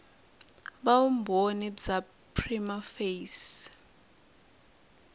va vumbhoni bya prima facie